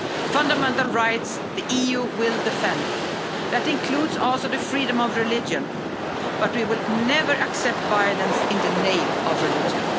Fundamental rights, the EU will defend that includes also the freedom of religion, but we will never accept violence in the name of religion.